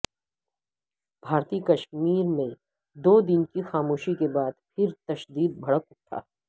بھارتی کشمیر میں دو دن کی خاموشی کے بعد پھر تشدد بھڑک اٹھا